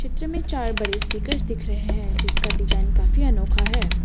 में चार बड़े स्पीकर्स दिख रहे हैं जिसका डिजाइन काफी अनोखा है।